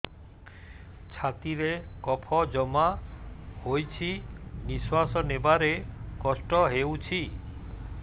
ଛାତିରେ କଫ ଜମା ହୋଇଛି ନିଶ୍ୱାସ ନେବାରେ କଷ୍ଟ ହେଉଛି